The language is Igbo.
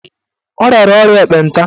O rịara ọrịa ekpenta.